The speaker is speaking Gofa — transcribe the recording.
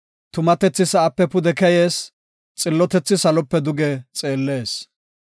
Tumatethi sa7aape pude keyees; xillotethi salope duge xeellees.